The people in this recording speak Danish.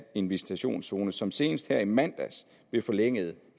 en visitationszone som senest her i mandags blev forlænget